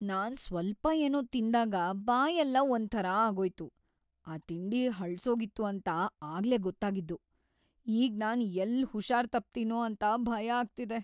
ನಾನ್‌ ಸ್ವಲ್ಪ ಏನೋ ತಿಂದಾಗ ಬಾಯೆಲ್ಲ ಒಂಥರಾ ಆಗೋಯ್ತು, ಆ ತಿಂಡಿ ಹಳ್ಸೋಗಿತ್ತು ಅಂತ ಆಗ್ಲೇ ಗೊತ್ತಾಗಿದ್ದು, ಈಗ್ ನಾನ್‌ ಎಲ್ಲ್ ಹುಷಾರ್‌ ತಪ್ತೀನೋ ಅಂತ ಭಯ ಆಗ್ತಿದೆ.